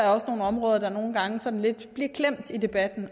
er nogle områder der nogle gange bliver sådan lidt klemt i debatten